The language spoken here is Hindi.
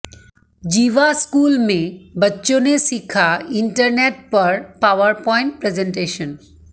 जीवा स्कूल में बच्चों ने सीखा इंटरनेट पर पावरपॉइंट प्रेज़ेन्टेशन